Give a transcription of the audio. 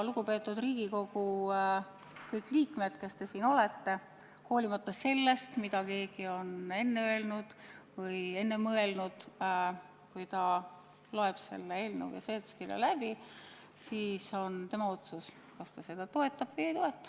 Lugupeetud Riigikogu, kõik liikmed, kes te siin olete, ja hoolimata sellest, mida keegi on enne öelnud või enne mõelnud: kui te loete selle eelnõu ja seletuskirja läbi, siis on see teie otsus, kas te seda toetate või ei toeta.